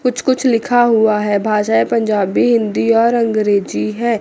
कुछ कुछ लिखा हुआ है भाषाएँ पंजाबी हिन्दी और अंग्रेजी है।